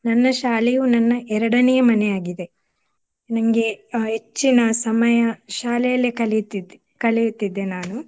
ನನ್ನ ಶಾಲೆಯು ನನ್ನ ಎರಡನೇಯ ಮನೆಯಾಗಿದೆ. ನಂಗೆ ಆ ಹೆಚ್ಚಿನ ಸಮಯ ಶಾಲೆಯಲ್ಲೇ ಕಲಿಯುತ್ತಿದ್ದೆ ಕಳೆಯುತ್ತಿದ್ದೆ ನಾನು.